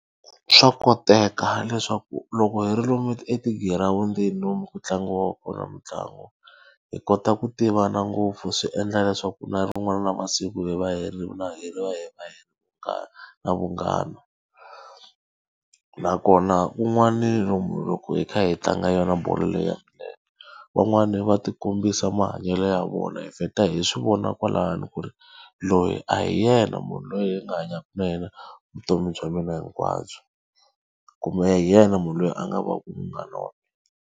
Swa koteka leswaku loko hi ri lomu etigirawundini lomu ku tlangiwaka kona mitlangu, hi kota ku tivana ngopfu swi endla leswaku na rin'wana ra masiku hi va hi ri na hi va hi na na vunghana. Nakona kun'wani lomu loko hi kha hi tlanga yona bolo leyi ya milenge, van'wani va ti kombisa mahanyelo ya vona. Hi vheta hi swi vona kwalano ku ri loyi a hi yena munhu loyi hi nga hanyaka na yena vutomi bya mina hinkwabyo. Kumbe a hi yena munhu loyi a nga va ku munghana na wa mina.